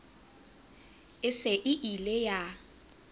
e se e ile ya